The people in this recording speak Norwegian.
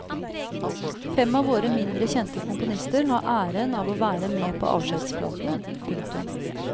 Fem av våre mindre kjente komponister har æren av å være med på avskjedsplaten. punktum